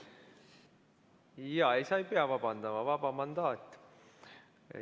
Sa ei pea vabandama, vaba mandaat.